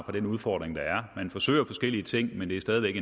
på den udfordring der er man forsøger forskellige ting men det er stadig væk